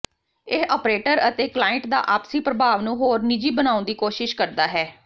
ਇਹ ਆਪ੍ਰੇਟਰ ਅਤੇ ਕਲਾਇੰਟ ਦਾ ਆਪਸੀ ਪ੍ਰਭਾਵ ਨੂੰ ਹੋਰ ਨਿੱਜੀ ਬਣਾਉਣ ਦੀ ਕੋਸ਼ਿਸ਼ ਕਰਦਾ ਹੈ